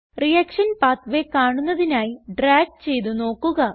reaction pathway കാണുന്നതിനായി drag ചെയ്ത് നോക്കുക